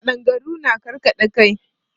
Ƙadangaru na karkaɗa kai.